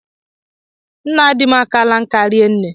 Nna di m akaala nka rinne